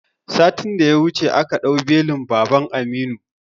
Satin da ya wuce aka ɗau belin baban Aminu